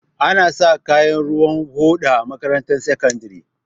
Anasa kaya ruwan hoda a makarantar sakandare